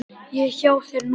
Ég er hjá þér núna.